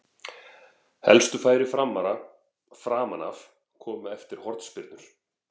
Helstu færi Framara framan af komu eftir hornspyrnur.